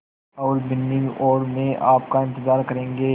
और बिन्नी और मैं आपका इन्तज़ार करेंगे